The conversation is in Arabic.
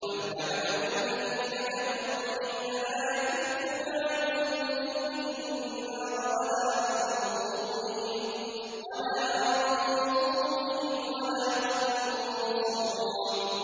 لَوْ يَعْلَمُ الَّذِينَ كَفَرُوا حِينَ لَا يَكُفُّونَ عَن وُجُوهِهِمُ النَّارَ وَلَا عَن ظُهُورِهِمْ وَلَا هُمْ يُنصَرُونَ